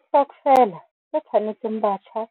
Stokvela se tshwanetseng batjha